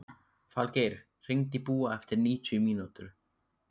Falgeir, hringdu í Búa eftir níutíu mínútur.